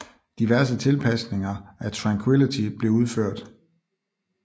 Diverse tilpasninger af Tranquility blev udført